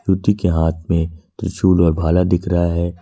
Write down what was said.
के हाथ में त्रिशूल और भाला दिख रहा है।